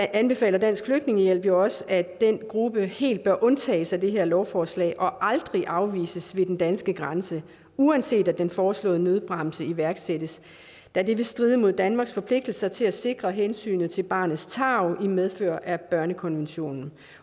anbefaler dansk flygtningehjælp også at den gruppe helt bør undtages i det her lovforslag og aldrig bør afvises ved den danske grænse uanset om den foreslåede nødbremse iværksættes da det vil stride imod danmarks forpligtelser til at sikre hensynet til barnets tarv i medfør af børnekonventionen